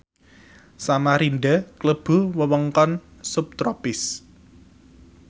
Samarinda klebu wewengkon subtropis